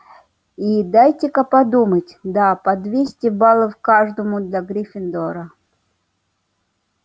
и дайте-ка подумать да по двести баллов каждому для гриффиндора